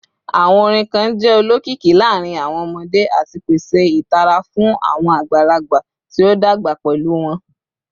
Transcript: Awọn orin kan jẹ olokiki laarin awọn ọmọde ati pese itara fun awọn agbalagba ti o dagba pẹlu wọn